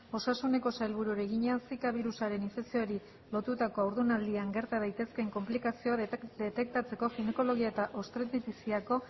osasuneko sailburuari egina zika birusaren infekzioari lotuta haurdunaldian gerta daitezkeen konplikazioak detektatzeko ginekologia eta obstetriziako